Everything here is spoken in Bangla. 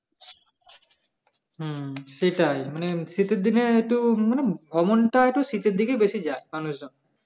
হ্যাঁ সেটাই মানে শীতের দিনে তো মানে একটু শীতের দিনে বেশি যায় মানুষজন